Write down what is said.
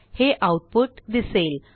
हे आऊटपुट दिसेल